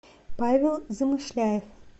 павел замышляев